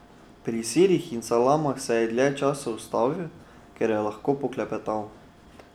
Pri sirih in salamah se je dlje časa ustavil, ker je lahko poklepetal.